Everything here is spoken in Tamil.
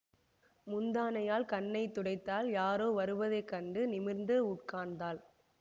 முந்தானையால் கண்ணை துடைத்தாள் யாரோ வருவதை கண்டு நிமிர்ந்து உட்கார்ந்தாள்